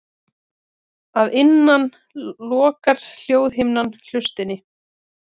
Að innan lokar hljóðhimnan hlustinni.